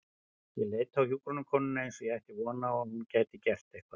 Ég leit á hjúkrunarkonuna eins og ég ætti von á að hún gæti gert eitthvað.